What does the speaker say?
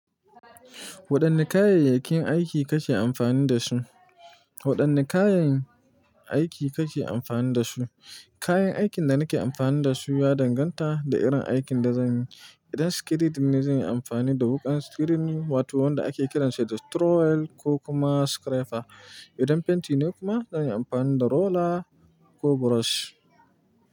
Waɗanne kayayyakin aiki kake amfani da su? Waɗanne kayan aiki kake amfani da su? Kayan aikin da nake amfani da su ya danganta da irin aikin da zanyi. Idan screeding ne, zan yi amfani da wukan screeding wato wanda ake kiransa da trowel ko kuma scraper. Idan fenti ne kuma zan yi amfani da roller ko brush.